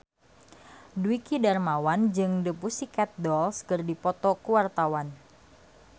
Dwiki Darmawan jeung The Pussycat Dolls keur dipoto ku wartawan